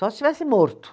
Só se estivesse morto.